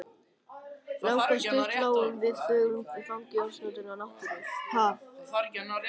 Langa stund lágum við þögul í fangi ósnortinnar náttúru.